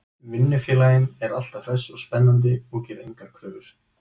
Vinnufélaginn er alltaf hress og spennandi og gerir engar kröfur.